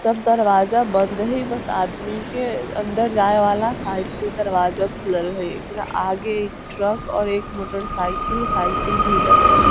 सब दरवाजा बंद हेय बस आदमी के अंदर जाए वाला साइड से दरवाजा खुलल हेय एकरा आगे एक ट्रक और एक मोटर साइकिल साइकिल भी लगल हेय।